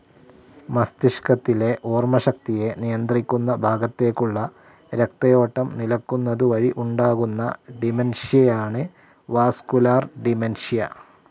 മസ്തിഷ്കത്തിലെ ഓർമ്മശക്തിയെ നിയന്ത്രിക്കുന്ന ഭാഗത്തേക്കുള്ള രക്തയോട്ടം നിലക്കുന്നതു വഴി ഉണ്ടാകുന്ന ഡിമെൻഷ്യയാണ് വാസ്കുലർ ഡിമെൻ‌ഷ്യ.